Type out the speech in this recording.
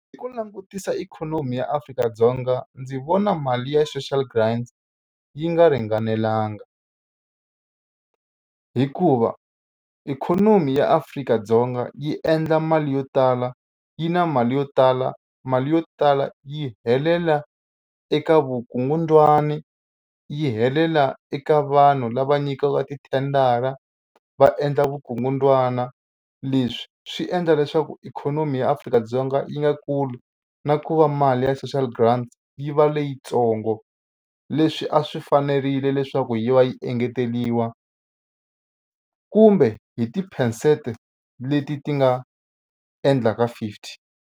Hi ku langutisa ikhonomi ya Afrika-Dzonga ndzi vona mali ya social grant yi nga ringanelanga hikuva ikhonomi ya Afrika-Dzonga yi endla mali yo tala yi na mali yo tala mali yo tala yi helela eka vukungundzwani yi helela eka vanhu lava nyikiwaka tithendara va endla vukungundzwana. Leswi swi endla leswaku ikhonomi ya Afrika-Dzonga yi nga kuli na ku va mali ya social grant yi va leyitsongo leswi a swi fanerile leswaku yi va yi engeteriwa kumbe hi ti-percent leti ti nga endlaka fifty.